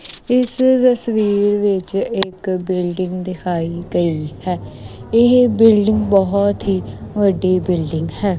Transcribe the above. ਇਸ ਤਸਵੀਰ ਵਿੱਚ ਇੱਕ ਬਿਲਡਿੰਗ ਦਿਖਾਈ ਗਈ ਹੈ ਇਹ ਬਿਲਡਿੰਗ ਬਹੁਤ ਹੀ ਵੱਡੀ ਬਿਲਡਿੰਗ ਹੈ।